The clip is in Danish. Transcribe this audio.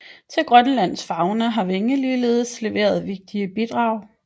Til Grønlands fauna har Winge ligeledes leveret vigtige bidrag